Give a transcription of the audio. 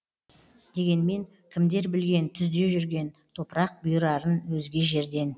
дегенмен кімдер білген түзде жүрген топырақ бұйырарын өзге жерден